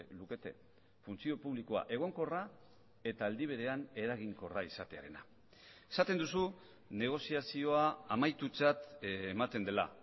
lukete funtzio publikoa egonkorra eta aldi berean eraginkorra izatearena esaten duzu negoziazioa amaitutzat ematen dela